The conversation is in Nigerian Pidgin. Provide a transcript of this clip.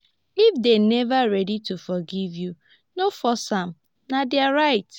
if dem neva ready to forgive you no force am na their right.